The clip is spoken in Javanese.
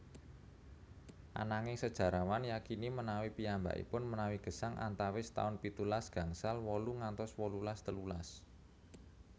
Ananging sejarawan yakini menawi piyambakipun menawi gesang antawis taun pitulas gangsal wolu ngantos wolulas telulas